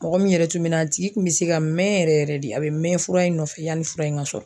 Mɔgɔ min yɛrɛ tun bɛ na a tigi kun bɛ se ka mɛ yɛrɛ yɛrɛ de, a bɛ mɛ fura in nɔfɛ yani fura in ŋa sɔrɔ.